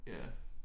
Ja